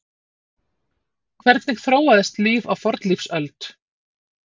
Hvernig þróaðist líf á fornlífsöld?